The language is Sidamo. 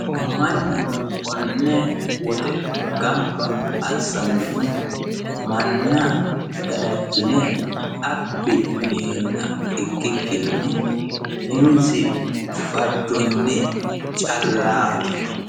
mannu konnne woxe gamba assannohu manna gadachine abbi yineenna ikkikkinni umisi fajjonni callaati.